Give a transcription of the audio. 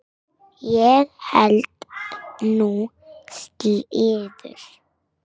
Ég held nú slíður!